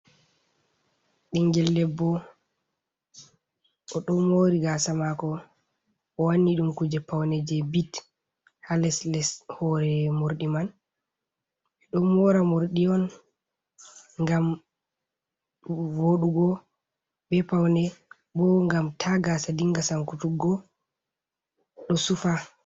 Bingel debbo, o do mori gasa mako, o wanni dum kuje paune je bits ha les les hore mordi man, ɓe don mora morɗi on ngam vodugo, be paune bo ngam ta gasa dinga sankutuggo do sufa.